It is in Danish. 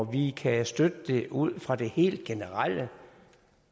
vi kan støtte det ud fra det helt generelle